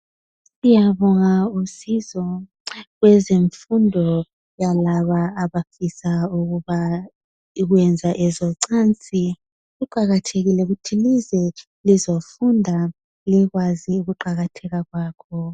Siyabonga usizo lwezemfundo yalabo abafisa ukwenza ezocansi. Kuqakathekile ukuthi lize lizofunda likwazi ukuqakatheka kwakho.